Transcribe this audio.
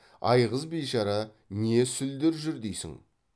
айғыз бишара не сүлдер жүр дейсің